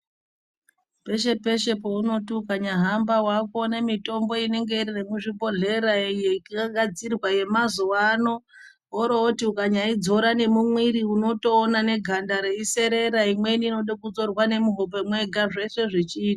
Peshe peshe pawakuti ukahamba wakuona mutombo inenge iri muzvibhehleya inogadzirwa yemazuwa ano woroti ukaidzora mumuiri unotoona neganda reiserera neinodo kuzorwa nemuhope mega.